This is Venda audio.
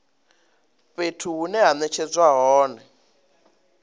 fhethu hune ha netshedzwa hone